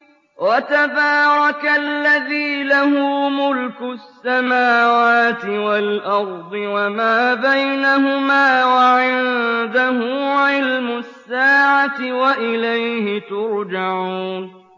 وَتَبَارَكَ الَّذِي لَهُ مُلْكُ السَّمَاوَاتِ وَالْأَرْضِ وَمَا بَيْنَهُمَا وَعِندَهُ عِلْمُ السَّاعَةِ وَإِلَيْهِ تُرْجَعُونَ